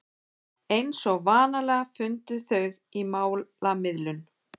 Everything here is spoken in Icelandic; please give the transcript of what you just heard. Eins og vanalega fundu þau málamiðlun.